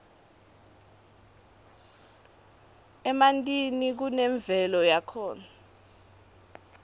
emantini kunemvelo yakhona